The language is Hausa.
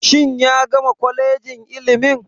Shin ya gama kwalejin ilimin.